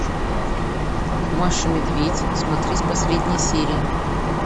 маша и медведь смотреть последние серии